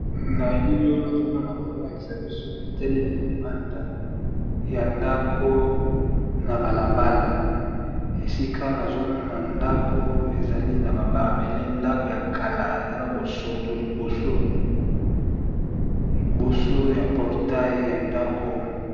na elilio nazomona bazolakisa biso etelele libanda ya ndako na balabala esika nazomona ndako ezali na bababele ndako ya kala eza na bosoto iosoliboso ya portai ya ndako